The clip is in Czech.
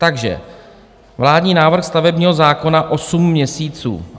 Takže vládní návrh stavebního zákona - 8 měsíců.